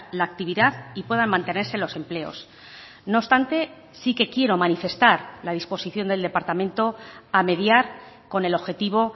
la actividad y puedan mantenerse los empleos no obstante sí que quiero manifestar la disposición del departamento a mediar con el objetivo